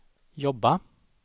jobba